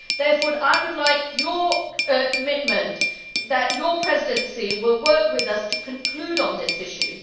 Therefore I would like your commitment that your Presidency will work with us to conclude on this issue.